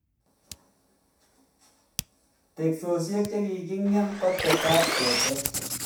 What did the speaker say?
teksoshek chikikingem kotetat ketech